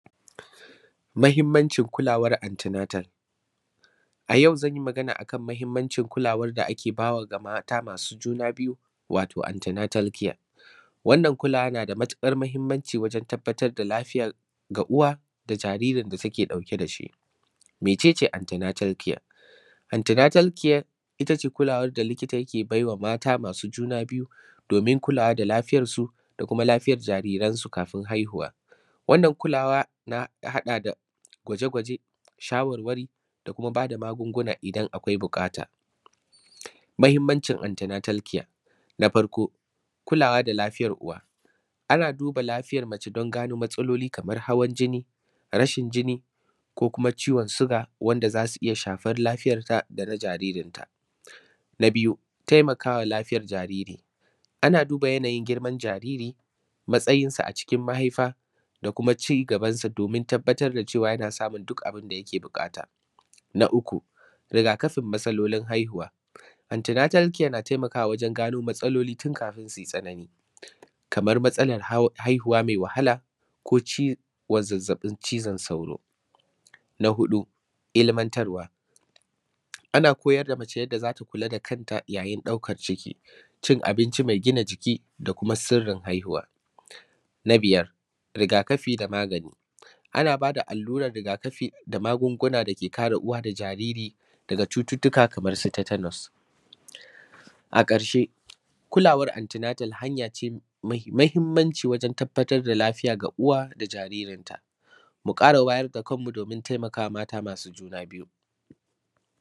mahimmancin kulawar anti natal a yau zan yi magana a kan mahimmancin kulawar da ake ba wa ga mata masu juna biyu wato anti natal care wannan kulawa na da matuƙar muhimmanci wajan tabbatar da lafiya ga uwa da jaririn da take ɗauke da shi mece ce anty natal care ita ce kulawar da likita ke baiwa mata masu juna biyu domin kulawa da lafiyar su da kuma lafiyar jaririnsu kafin haihuwa wannan kulawa na haɗa da gwaje gwaje shawarwari da kuma ba da magunguna idan akwai buƙata mahimmancin anty natal care na farko kulawa da lafiyar uwa ana duba lafiyar mace don gano matsaloli kamar hawan jini rashin jini ko kuma ciwon siga da wanda za su iya shafar lafiyan ta da na jaririn ta na biyu taimaka wa lafiyar jariri ana duba yanayin girman jariri matsayinsa a cikin mahaifa da kuma cigaban sa domin tabbatar da cewa yana samun duk abinda yake buƙata na uku rigakafin matsalolin haihuwa anty natal care na taimaka wa wajan gano matsaloli tun kafin su yi tsanani kamar matsalan haihuwa mai wahala ko zazzaɓin cizon sauro na huɗu ilimantarwa ana koyar da mace yadda za ta kula da kanta yayin ɗaukar ciki cin abinci mai gina jiki da kuma sirrin haihuwa na biyar rigakafi da magani ana ba da alluran rigakafi da magunguna da ke kare uwa da jariri daga cututtuka kamar su tatanos a ƙarshe kulawar anty natal hanya ce mai mahimmanci wajan tabbatar da lafiya ga uwa da jaririnta mu ƙara wayar da kan mu domin taimakawa mata masu juna biyu